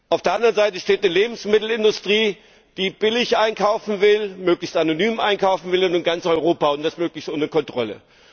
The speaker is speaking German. Auf der anderen Seite steht eine Lebensmittelindustrie, die billig einkaufen will, möglichst anonym einkaufen will, und zwar in ganz Europa, und das möglichst ohne Kontrolle.